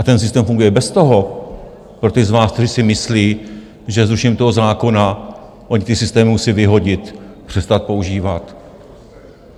A ten systém funguje bez toho pro ty z vás, kteří si myslí, že zrušením toho zákona oni ty systémy musí vyhodit, přestat používat.